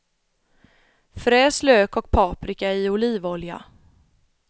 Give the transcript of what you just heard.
Fräs lök och paprika i olivolja.